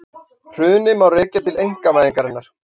Hrunið má rekja til einkavæðingarinnar